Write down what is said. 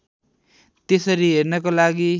त्यसरी हेर्नको लागि